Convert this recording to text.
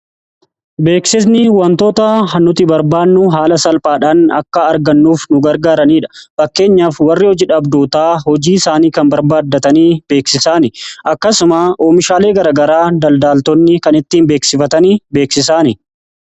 Beeksisni wantoota nuti barbaannuu haala salphaadhaan akka argannuuf nu gargaaraniidha. Fakkeenyaaf warri hojiidha abdootaa hojii isaanii kan barbaaddatanii beeksisaan akkasuma oomishaalee garagaraa daldaaltoonni kan ittiin beeksifatanii beeksisan.